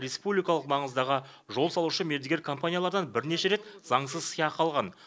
республикалық маңыздағы жол салушы мердігер компаниялардан бірнеше рет заңсыз сыйақы алған